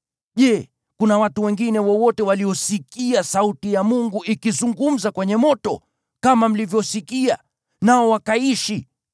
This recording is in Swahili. Je, kuna watu wengine wowote waliosikia sauti ya Mungu ikizungumza kwenye moto, kama mlivyosikia, nao wakaishi?